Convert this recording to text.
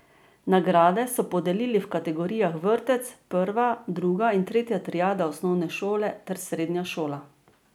Nagrade so podelili v kategorijah vrtec, prva, druga in tretja triada osnovne šole ter srednja šola.